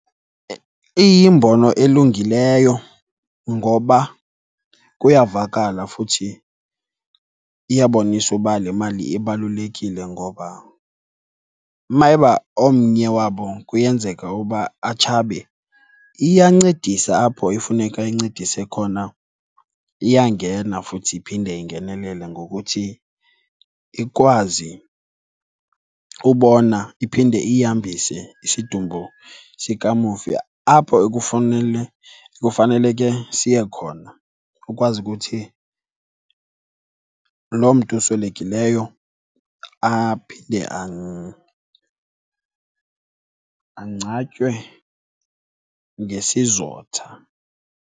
Iyimbono elungileyo ngoba kuyavakala futhi iyabonisa uba le mali ibalulekile ngoba uma eba omnye wabo kuyenzeka uba atshabe iyancedisa apho ifuneka incedise khona. Iyangena futhi iphinde ingenelele ngokuthi ikwazi ubona iphinde ihambise isidumbu sikamufi apho ekufunele, ekufaneleke siye khona. Ukwazi ukuthi loo mntu uswelekileyo aphinde angcwatywe ngesizotha.